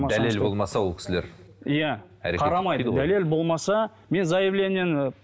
дәлел болмаса ол кісілер иә қарамайды дәлел болмаса мен заявлениені